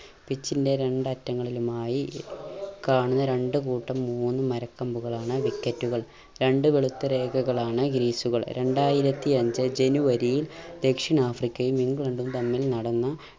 pitch ൻറെ രണ്ടറ്റങ്ങളിലുമായി കാണുന്ന രണ്ട് കൂട്ടം മൂന്ന് മരക്കമ്പുകളാണ് wicket കൾ. രണ്ട് വെളുത്ത രേഖകളാണ് greece കൾ. രണ്ടായിരത്തി അഞ്ചു ജനുവരിയിൽ ദക്ഷിണാഫ്രിക്കയും ഇംഗ്ലണ്ടും തമ്മിൽ നടന്ന